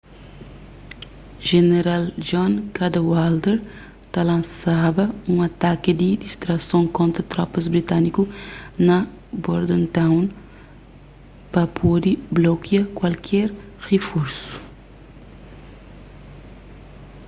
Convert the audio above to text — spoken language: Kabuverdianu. jeneral john cadwalder ta lansaba un ataki di distrason kontra tropas britániku na bordentown pa pode blokia kuaker riforsu